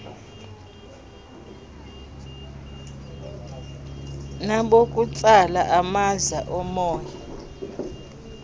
nabokutsala amaza omoya